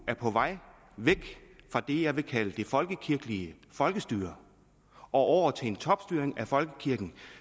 er på vej væk fra det jeg vil kalde det folkekirkelige folkestyre og over til en topstyring af folkekirken